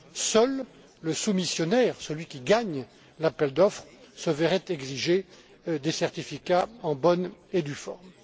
Seul le soumissionnaire qui gagne l'appel d'offres se verrait exiger des certificats en bonne et due